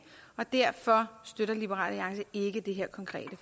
og derfor støtter liberal alliance ikke det her konkrete